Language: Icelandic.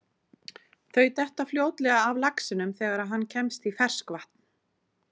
Þau detta fljótlega af laxinum þegar hann kemst í ferskvatn.